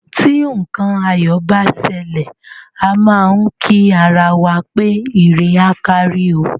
Tí nǹkan ayọ̀ bá ṣẹlẹ̀, a má á ń kí ara wa pé ire á kárí o.